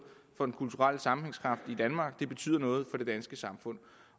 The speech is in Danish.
for den kulturelle sammenhængskraft i danmark det betyder noget for det danske samfund